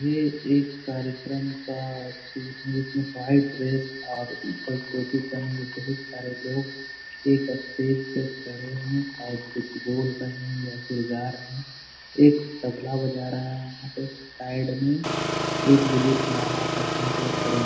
ये एक कार्यक्रम का सीन है जिसमें वाइट ड्रेस और उपर टोपी पहने हुए बहुत सारे लोग एक स्टेज पे खड़े हैं शायद कुछ बोल रहे हैं या फिर गा रहें हैं। एक तबला बजा रहा है। वहाँ पे साइड में एक बुजुर्ग माला पहने के खड़े --